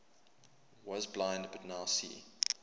was blind but now see